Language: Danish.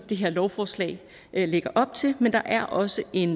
det her lovforslag lægger op til men der er også en